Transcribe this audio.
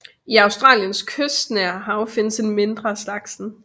I Australiens kystnære hav findes en mindre af slagsen